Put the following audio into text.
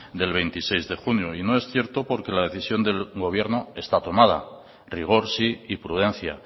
del veintiséis de junio y no es cierto porque la decisión del gobierno está tomada rigor sí y prudencia